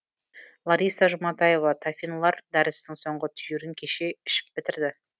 лариса жұматаева тафинлар дәрісінің соңғы түйірін кеше ішіп бітірді